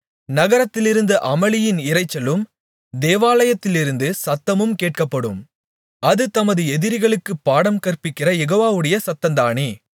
நகரத்திலிருந்து அமளியின் இரைச்சலும் தேவாலயத்திலிருந்து சத்தமும் கேட்கப்படும் அது தமது எதிரிகளுக்கு பாடம்கற்பிக்கிற யெகோவாவுடைய சத்தந்தானே